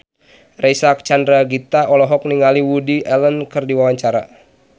Reysa Chandragitta olohok ningali Woody Allen keur diwawancara